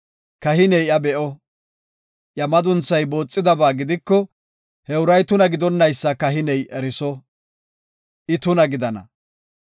Kahiney iya be7o; iya madunthay booxidaba gidiko, he uray tuna gidonaysa kahiney eriso; I tuna gidana.